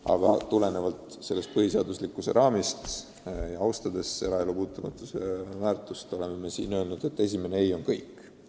Aga tulenevalt põhiseaduslikkuse raamist ja eraelu puutumatust austades oleme eelnõus sätestanud, et esimene "ei" on lõplik "ei".